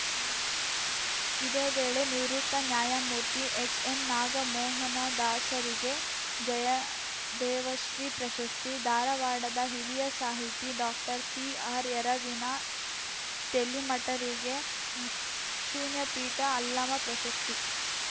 ಇದೇ ವೇಳೆ ನಿವೃತ್ತ ನ್ಯಾಯಮೂರ್ತಿ ಎಚ್‌ಎನ್‌ನಾಗಮೋಹನದಾಸರಿಗೆ ಜಯದೇವಶ್ರೀ ಪ್ರಶಸ್ತಿ ಧಾರವಾಡದ ಹಿರಿಯ ಸಾಹಿತಿ ಡಾಕ್ಟರ್ಸಿಆರ್‌ಯರವಿನ ತೆಲಿಮಠರಿಗೆ ಶೂನ್ಯಪೀಠ ಅಲ್ಲಮ ಪ್ರಶಸ್ತಿ